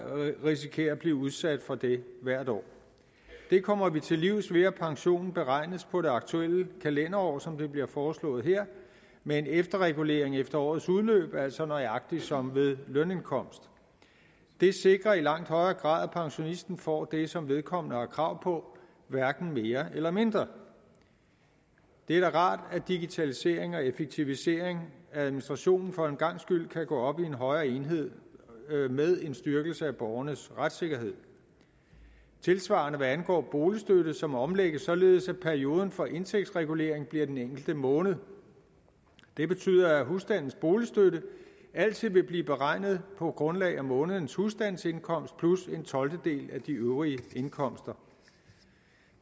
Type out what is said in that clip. risikerer at blive udsat for det hvert år det kommer vi til livs ved at pensionen beregnes på det aktuelle kalenderår som det bliver foreslået her med en efterregulering efter årets udløb altså nøjagtig som med lønindkomst det sikrer i langt højere grad at pensionisten får det som vedkommende har krav på hverken mere eller mindre det er da rart at digitalisering og effektivisering af administrationen for en gangs skyld kan gå op i en højere enhed med en styrkelse af borgernes retssikkerhed det tilsvarende hvad angår boligstøtte som omlægges således at perioden for indtægtsregulering bliver den enkelte måned det betyder at husstandens boligstøtte altid vil blive beregnet på grundlag af månedens husstandsindkomst plus en af de øvrige indkomster